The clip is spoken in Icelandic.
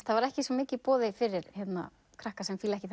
það var ekki svo mikið í boði fyrir krakka sem fíla ekki